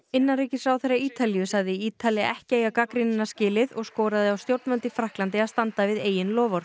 innanríkisráðherra Ítalíu sagði Ítali ekki eiga gagnrýnina skilið og skoraði á stjórnvöld í Frakklandi að standa við eigin loforð